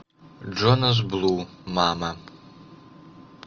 джонас блу мама